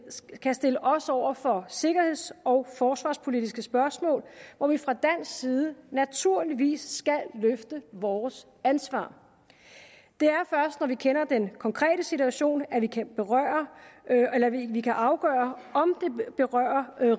kan stille os over for sikkerheds og forsvarspolitiske spørgsmål hvor vi fra dansk side naturligvis skal løfte vores ansvar det er først når vi kender den konkrete situation at vi kan vi kan afgøre om det berører